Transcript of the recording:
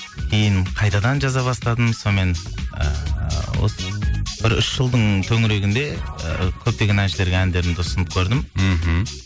кейін қайтадан жаза бастадым сонымен ыыы осы бір үш жылдың төңірегінде ы көптеген әншілерге әндерімді ұсынып көрдім мхм